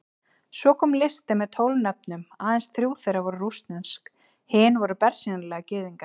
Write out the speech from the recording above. Svo kom listi með tólf nöfnum, aðeins þrjú þeirra voru rússnesk, hinir voru bersýnilega Gyðingar.